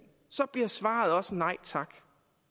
så bliver svaret også nej tak